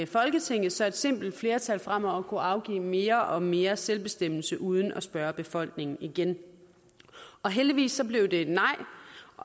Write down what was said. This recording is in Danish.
folketinget så et simpelt flertal fremover kunne afgive mere og mere selvbestemmelse uden at spørge befolkningen igen heldigvis blev det et nej